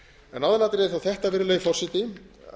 en aðalatriðið er þó þetta virðulegi forseti